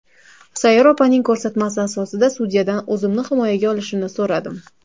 Sayyora opaning ko‘rsatmasi asosida sudyadan o‘zimni himoyaga olishini so‘radim.